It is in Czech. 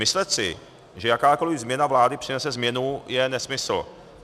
Myslet si, že jakákoli změna vlády přinese změnu, je nesmysl.